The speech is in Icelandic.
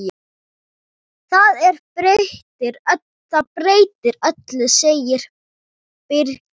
Það breytir öllu, segir Birkir.